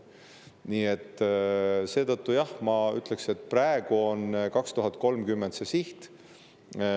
Nii et seetõttu, jah, ma ütleks, et praegu on 2030 see siht.